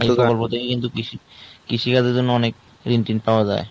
এটা প্রকল্প কিন্তু কৃষি কৃষি কাজের জন্য অনেক ঋণ টিন পাওয়া যায়।